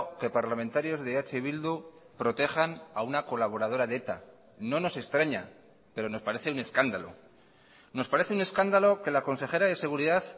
que parlamentarios de eh bildu protejan a una colaboradora de eta no nos extraña pero nos parece un escándalo nos parece un escándalo que la consejera de seguridad